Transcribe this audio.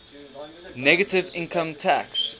negative income tax